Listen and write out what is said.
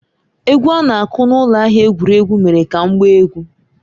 Egwu a na-aku n’ụlọ ahịa egwuregwu mere ka m gbaa egwu.